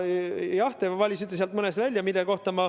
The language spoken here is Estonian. Jah, te valisite sealt mõned välja.